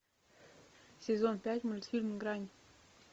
сезон пять мультфильм грань